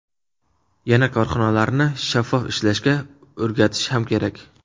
Yana korxonalarni shaffof ishlashga o‘rgatish ham kerak.